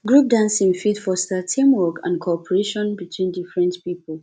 group dancing fit foster team work and cooperation between different pipo